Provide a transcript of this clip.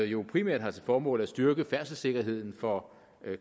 jo primært har til formål at styrke færdselssikkerheden for